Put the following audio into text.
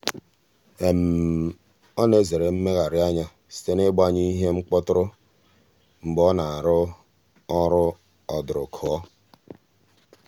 ọ na-ezere mmegherianya site n'ịgbanyụ ihe mkpọtụrụ mgbe ọ na-arụ ọrụ ọdụrụkọ.